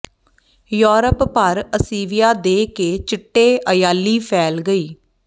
Europe ਭਰ ਅੱਸੀਵਿਆ ਦੇ ਕੇ ਚਿੱਟੇ ਅਯਾਲੀ ਫੈਲ ਗਈ